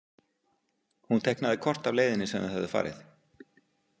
Hún teiknaði kort af leiðinni sem þau höfðu farið.